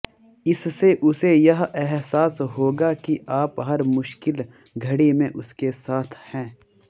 इससे उसे यह अहसास होगा कि आप हर मुश्किल घड़ी में उसके साथ है